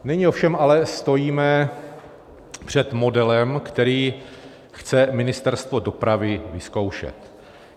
Nyní ovšem ale stojíme před modelem, který chce Ministerstvo dopravy vyzkoušet.